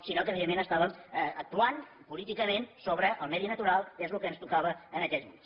sinó que evidentment estàvem actuant políticament sobre el medi natural que és el que ens tocava en aquells moments